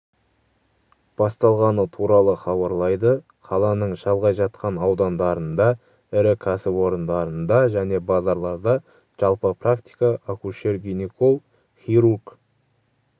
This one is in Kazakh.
басталғаны туралы хабарлайды қаланың шалғай жатқан аудандарында ірі кәсіпорындарында және базарларда жалпы практика акушер-гинеколог хирург